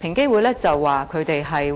平機會指出